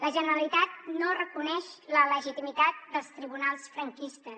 la generalitat no reconeix la legitimitat dels tribunals franquistes